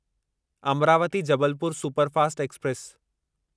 Amravati Jabalpur superfast express